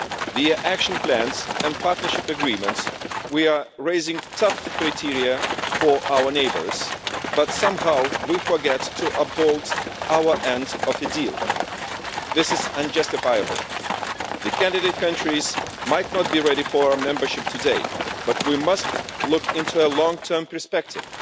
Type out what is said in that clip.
Via action plans and partnership agreements we are raising tough criteria for our neighbours, but somehow we forget to uphold our end of the deal. This is unjustifiable. The candidate countries might not be ready for membership today, but we must take a long term perspective.